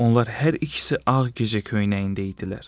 Onlar hər ikisi ağ gecə köynəyində idilər.